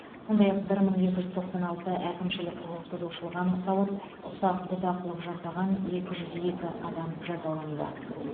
сондай ақ бір мың екі жүз тоқсан алты әкімшілік құқық бұзушылық анықталып ұсақ бұзақылық жасаған екі жүз екі адам жазаланды